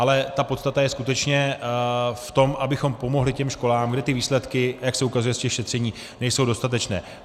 Ale ta podstata je skutečně v tom, abychom pomohli těm školám, kde ty výsledky, jak se ukazuje z těch šetření, nejsou dostatečné.